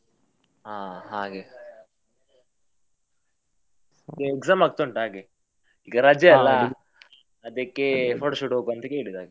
ಹಾ ಹಾಗೆ ಈಗ exam ಆಗ್ತಾ ಉಂಟ್ ಹಾಗೆ, ಈಗ ರಜೆ ಅದಕ್ಕೆ photoshoot ಹೋಗುವ ಅಂತ ಕೇಳಿದ್ ಹಾಗೆ.